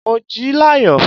Mo jí láyọ̀.